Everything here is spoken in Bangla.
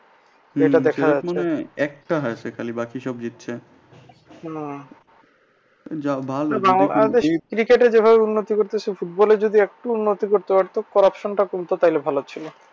Cricket যেভাবে উন্নতি করছে এভাবে football এ যদি একটু উন্নতি করতে পারতো corruption টা কিন্তু তাইলে ভালো ছিলো।